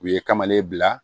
U ye kamalen bila